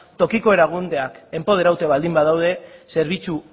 tokiko erakundeak enpoderatuta baldin badaude zerbitzu